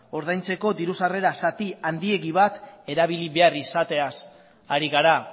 ordaintzeko diru sarrera zati handiegi bat erabili behar izatez ari gara